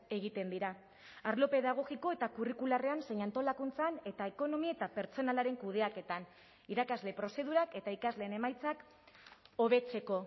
egiten dira arlo pedagogiko eta kurrikularrean zein antolakuntzan eta ekonomia eta pertsonalaren kudeaketan irakasle prozedurak eta ikasleen emaitzak hobetzeko